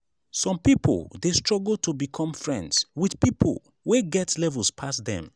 some pipo de struggle to become friends with pipo wey get levels pass dem